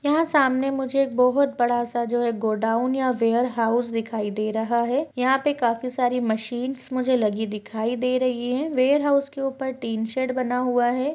यहाँ सामने मुझे एक बहुत बड़ा सा जो है गोडाउन या वेयर हाउस दिखाई दे रहा है यहाँ पे काफी सारी मशीनस मुझे लगी हुई दिखाई दे रही है वेयर हाउस के ऊपर टीनशेड बना हुआ है।